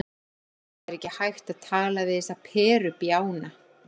Það er ekki hægt að tala við þessa perubjána.